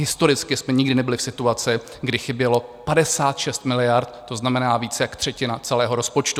Historicky jsme nikdy nebyli v situaci, kdy chybělo 56 miliard, to znamená více jak třetina celého rozpočtu.